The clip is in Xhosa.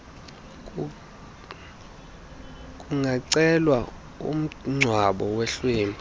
kungacelwa umngcwabo wehlwempu